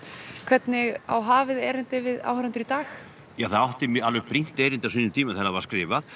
hvernig á hafið erindi við áhorfendur í dag já það átti alveg brýnt erindi á sínum tíma þegar það var skrifað